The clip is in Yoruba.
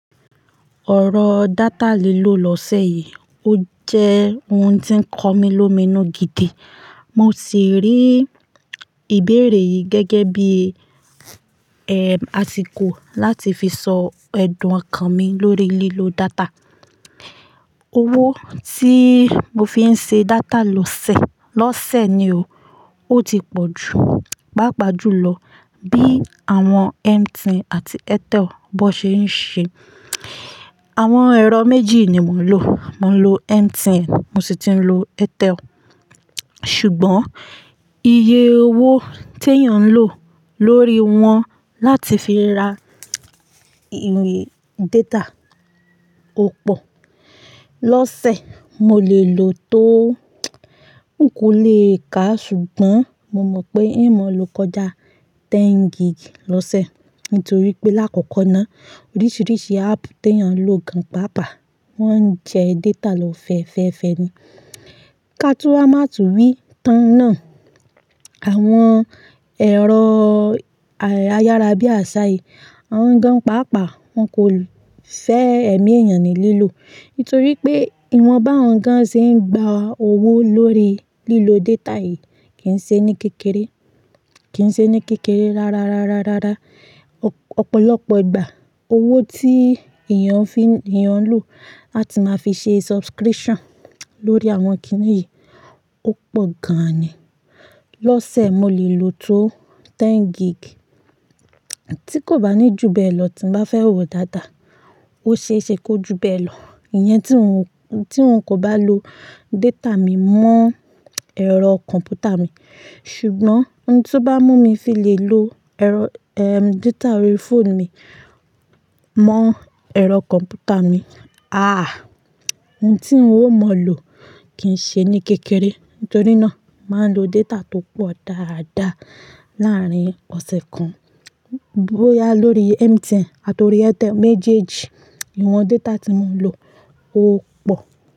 Ọ̀rọ̀ data lílò lọ́sẹ̀ yìí, ó jẹ́ ohun tó ń kọ mí l'ómi inú gidi. Mo sì rí ìbéèrè yìí gẹ́gẹ́ bí, àsìkò láti fi sọ ẹ̀dùn ọkàn mi lórí lílo data. Owó tí mo fi ń ṣe data lọ́sẹ̀, lọ́sẹ̀ ni o, ó ti pọ̀ jù, Paapa jù lọ bí àwọn MTN àti Airtel bó ṣe ń ṣe. Àwọn ẹ̀rọ méjì ni mò ń lò. Mò ń lò MTN, mo sì tun ń lò Airtel. Ṣùgbọ́n iye owó tí èèyàn ń lò lórí wọn láti fi ra ìwé data ò pọ̀. Lọ́sẹ̀, mo lè lò tó n kò lè kàá ṣùgbọ́n mo mọ̀ pé n mo lọ kọ́jà ten gig lọ́sẹ̀ nítorí pé lákòókò náà oríṣiríṣi app tí èèyàn ń lò gan pàápàá wọ́n ń jẹ data lọ fẹ́ẹ́fẹ́ ẹ ni. Ká tún máa tú wí tán náà, àwọn ẹ̀rọ ayárabíàṣá yìí, awọ́n gan pàápàá, wọ́n kò fẹ́ ẹ̀mí èèyàn ní lílò. Nítorí pé ìwọ̀n báwọn gan ṣe ń gba owó lórí lílo data yìí kì í ṣe ní kékeré, kì í ṣe ní kékeré rárárárárárá. Ọ̀pọ̀lọpọ̀ ìgbà owó tí èèyàn fi ń, èèyàn ń lò láti máa fi ṣe subscription lórí àwọn kiní yìí ó pọ̀ gan ni. Lọ́sẹ̀, mo lè lò tó ten gig tí kò bá ní ju bẹ́ẹ̀ lọ tí mo bá fẹ́ wò daadaa. Ó ṣe é ṣe kó ju bẹ́ẹ̀ lọ. Ìyẹn tí n ò, tí n kò bá lo data mi mọ́ ẹ̀rọ kọ̀m̀pútà mi, ṣùgbọ́n ohun tí ó bá mú mi fi lè lo ẹ̀rọ, eh, data orí phone mi mọ́ ẹ̀rọ kọ̀m̀pútà mi, àh! Ohun tí n ò mọ̀ lò kì í ṣe ní kékeré. Nítorí náà, mo ma ń lo data tó pọ̀ dáadáa láàárín ọ̀sẹ̀ kan. Bóyá lórí MTN àti orí Airtel méjèèjì, ìwọ̀n data tí mò ń lò ó pọ̀